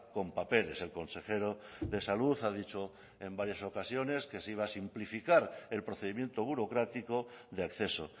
con papeles el consejero de salud ha dicho en varias ocasiones que se iba a simplificar el procedimiento burocrático de acceso